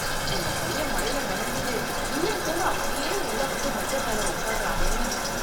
இந்த பையன் மழைல நனைஞ்சுட்டு ஈரத்தோட அப்படியே உள்ள வந்து மெத்தை மேல உட்காருறானே.